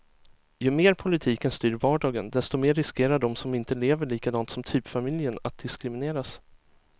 Ju mer politiken styr vardagen, desto mer riskerar de som inte lever likadant som typfamiljen att diskrimineras.